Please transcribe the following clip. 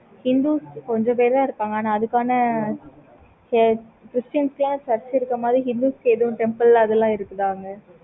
hindus கொஞ்சம் பேரு தான் இருப்பாங்க. ஆனா அதுக்கான christians ல church இருக்க மாதிரி hindus க்கு எது temple அதுலாம் இருக்குதா அங்க